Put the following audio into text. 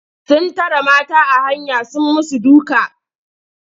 Sun tare mata a hanya sun yi musu duka.